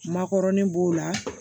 Makɔrɔni b'o la